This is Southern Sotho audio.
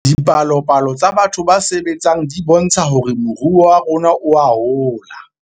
Dipalopalo tsa batho ba sebetseng di bontsha hore moruo wa rona oa hola